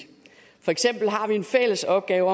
for eksempel har vi en fælles opgave